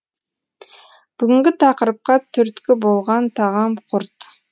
бүгінгі тақырыпқа түрткі болған тағам құрт